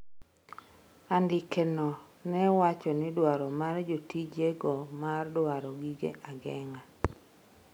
andike no ne wacho ni dwaro mar jotije go mar dwaro gige ageng'a